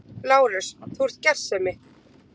LÁRUS: Þú ert gersemi!